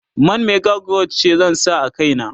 man mega growth ce zan sa a kaina